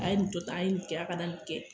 A ye nin to tan, a ka na nin kɛ a ka nin kɛ.